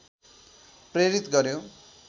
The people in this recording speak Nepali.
प्रेरित गर्‍यो